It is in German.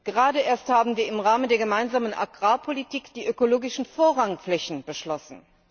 Gerade erst haben wir im Rahmen der Gemeinsamen Agrarpolitik die ökologischen Vorrangflächen beschlossen.